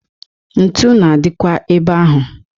Ntu na-adịkwa ebe ahụ.